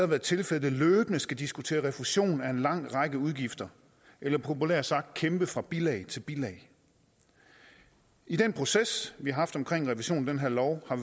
været tilfældet løbende skal diskutere refusion af en lang række udgifter eller populært sagt kæmpe fra bilag til bilag i den proces vi har haft omkring revisionen af den her lov har